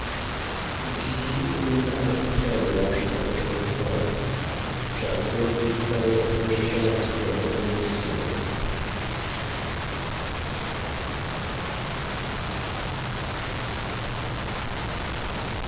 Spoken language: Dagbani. Bia n nyaɣa dala n ʒɛya ka o bia tabi ʒɛya n yuundi o